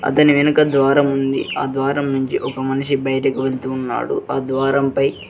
అతని వెనుక ద్వారం ఉంది. ఆ ద్వారం నుంచి ఒక మనిషి బయటకు వెళ్తున్నాడు ఆ ద్వారంపై--